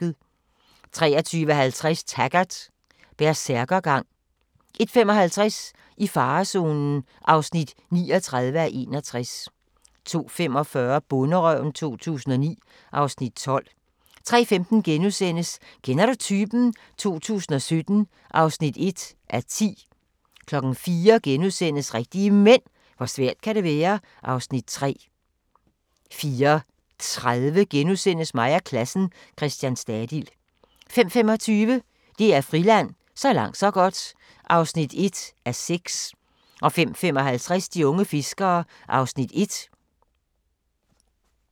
23:50: Taggart: Bersærkergang 01:55: I farezonen (39:61) 02:45: Bonderøven 2009 (Afs. 12) 03:15: Kender du typen? 2017 (1:10)* 04:00: Rigtige Mænd – hvor svært kan det være? (Afs. 3)* 04:30: Mig og klassen - Christian Stadil * 05:25: DR Friland: Så langt så godt (1:6) 05:55: De unge fiskere (Afs. 1)